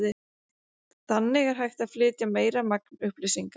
Þannig er hægt að flytja meira magn upplýsinga.